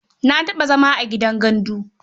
Na taɓa zama a gidan gandu.